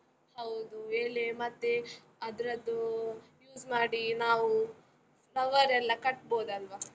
ಹೌದು, ಎಲೆ ಮತ್ತೆ ಅದ್ರದ್ದು ಯೂಸ್ ಮಾಡಿ ನಾವು flower ಎಲ್ಲ ಕಟ್ಬೋದಲ್ವ?